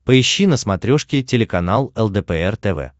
поищи на смотрешке телеканал лдпр тв